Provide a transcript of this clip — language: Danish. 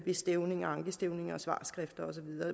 ved stævning ankestævning svarskrifter